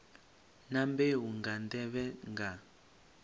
na mbeu nga nḓevhe nga